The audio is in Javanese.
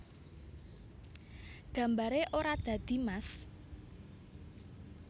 Gambaré ora dadi mas